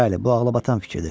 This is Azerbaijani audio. Bəli, bu ağlabatan fikirdir.